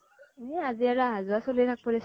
এ আজি আৰু আহা যোৱা চলি থাকিব দেচোন ।